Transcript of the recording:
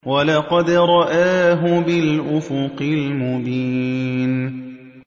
وَلَقَدْ رَآهُ بِالْأُفُقِ الْمُبِينِ